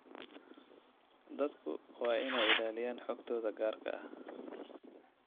Dadku waa inay ilaaliyaan xogtooda gaarka ah.